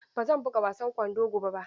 Ba zan buga wasan kwando gobe ba.